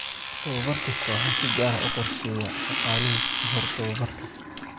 Tababar kasta waxaa si gaar ah u qorsheeya shaqaaluhu ka hor tababarka.